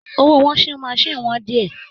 Owó washing machine wọ́n díẹ̀